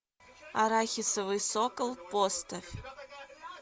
арахисовый сокол поставь